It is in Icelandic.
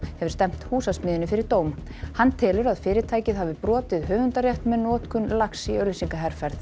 hefur stefnt Húsasmiðjunni fyrir dóm hann telur að fyrirtækið hafi brotið höfundarrétt með notkun lags í auglýsingaherferð